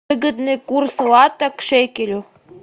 выгодный курс лата к шекелю